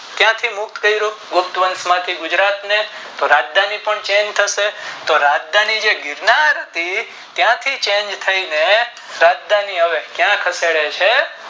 ક્યાંથી મુક્ત કરું ગુજરાત ને ગુપ્ત વંશ માંથી ગુજરાત ને તો રાજધાની પણ છે તો રાજધાની ગિરનાર છે ત્યાંથી ચારણી થાય ને